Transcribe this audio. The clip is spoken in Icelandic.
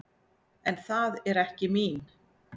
En það er ekki mín.